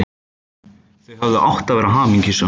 Þau hefðu átt að vera hamingjusöm.